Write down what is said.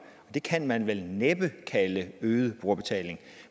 det kan man vel næppe kalde øget brugerbetaling